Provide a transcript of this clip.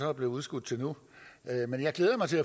er blevet udskudt til nu men jeg glæder mig til